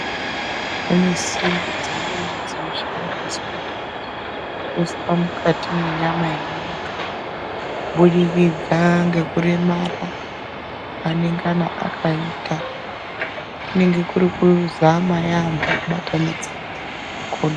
Pane simbi dzimweni dzinoshandisa kuiswa mukati menyama yemuntu kubudikidza ngekuremera kwaanengana akaita. Kunenge kuri kuzama yaambo kubatanidza makodo.